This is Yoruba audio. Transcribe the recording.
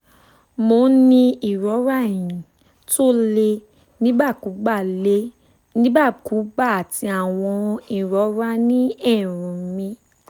mo ń ní ìrora eyín tó le nígbàkúùgbà le nígbàkúùgbà àti àwọn ìrora ní eérún mi